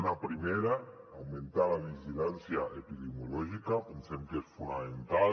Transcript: una primera augmentar la vigilància epidemiològica pensem que és fonamenta